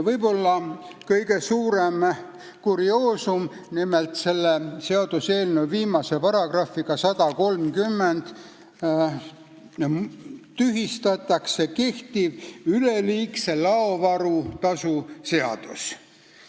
Võib-olla kõige suurem kurioosum on see, et selle seaduseelnõu viimase paragrahviga, §-ga 130, tühistatakse kehtiv üleliigse laovaru tasu seadus.